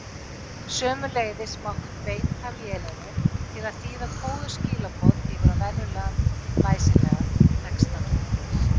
Sömuleiðis mátti beita vélinni til að þýða kóðuð skilaboð yfir á venjulegan læsilegan texta.